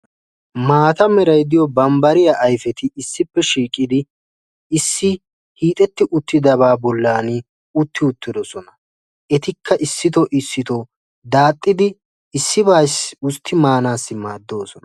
maatta meray de"iyo bambariya meray issippe shiqidi uttidossona ettikka katta ustidi maanawu maadessi.